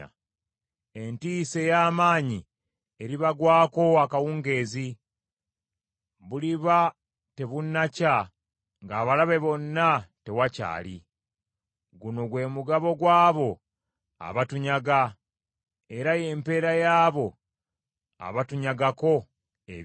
Entiisa ey’amaanyi eribagwako akawungeezi. Buliba tebunnakya ng’abalabe bonna tewakyali. Guno gwe mugabo gw’abo abatunyaga, era y’empeera y’abo abatunyagako ebyaffe.